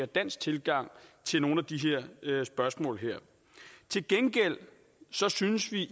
danske tilgang til nogle af de her spørgsmål til gengæld synes vi